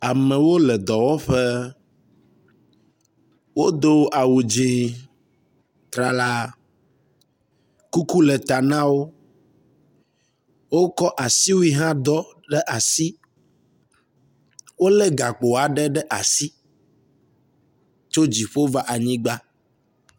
Amewo le dɔwƒe wodo awu dzi trala. Kuku le ta na wo. Wokɔ asiwui hã ɖɔ ɖe asi wo le gakpo aɖe ɖe asi tso dziƒo va anyigba.